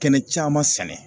Kɛnɛ caman sɛnɛ.